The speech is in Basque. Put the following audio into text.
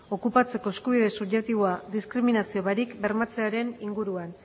okupatzeko eskubide subjektiboa diskriminazio barik bermatzearen inguruan